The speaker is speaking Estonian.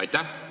Aitäh!